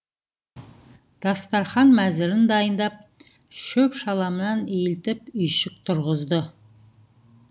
дастархан мәзірін дайындап шөп шаламнан иілтіп үйшік тұрғызды